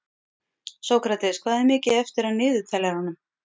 Sókrates, hvað er mikið eftir af niðurteljaranum?